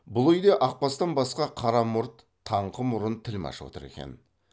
бұл үйде ақбастан басқа қара мұрт таңқы мұрын тілмәш отыр екен